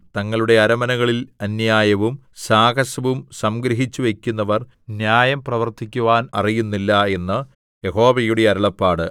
തങ്ങളുടെ അരമനകളിൽ അന്യായവും സാഹസവും സംഗ്രഹിച്ചുവയ്ക്കുന്നവർ ന്യായം പ്രവർത്തിക്കുവാൻ അറിയുന്നില്ല എന്ന് യഹോവയുടെ അരുളപ്പാട്